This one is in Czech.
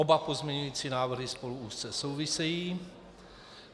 Oba pozměňovací návrhy spolu úzce souvisejí.